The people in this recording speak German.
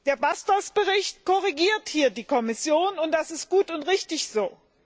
Der Bericht Bastos korrigiert hier die Kommission, und das ist gut und richtig so.